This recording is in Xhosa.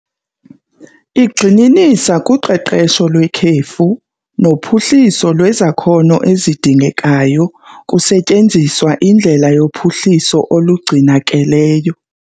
Igxininisa kuqeqesho lwekhefu nophuhliso lwezakhono ezidingekayo kusetyenziswa indlela yophuhliso olungcinakeleyo.